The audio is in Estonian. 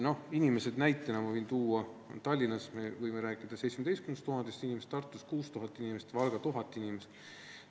Ma võin näitena tuua, et Tallinnas me võime rääkida 17 000 inimesest, Tartus 6000 inimesest ja Valgas 1000 inimesest.